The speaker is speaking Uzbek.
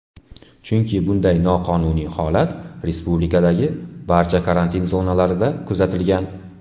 Chunki bunday noqonuniy holat respublikadagi barcha karantin zonalarida kuzatilgan.